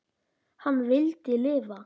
Hann vildi lifa.